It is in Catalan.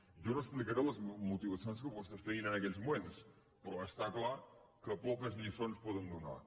jo no explicaré les motivacions que vostès tenien en aquells moments però està clar que poques lliçons poden donar